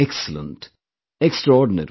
Excellent, extraordinary